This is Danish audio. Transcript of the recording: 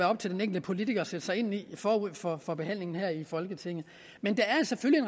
op til den enkelte politiker at sætte sig ind i forud for for behandlingen her i folketinget men der er selvfølgelig